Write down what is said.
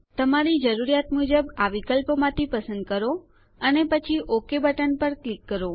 તમારી જરૂરિયાત મુજબ આ વિકલ્પોમાંથી પસંદ કરો અને પછી ઓક બટન પર ક્લિક કરો